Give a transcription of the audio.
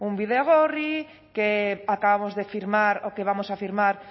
bidegorri que acabamos de firmar o que vamos a firmar